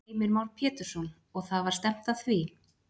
Heimir Már Pétursson: Og það var stefnt að því?